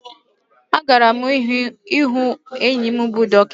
A gara mu ịhụ enyi m bụ dọkịta